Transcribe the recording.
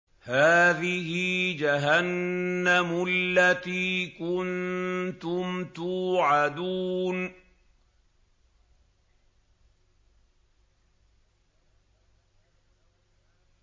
هَٰذِهِ جَهَنَّمُ الَّتِي كُنتُمْ تُوعَدُونَ